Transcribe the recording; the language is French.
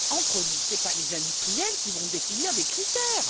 Mais entre nous, ce ne sont pas les industriels qui vont définir des critères!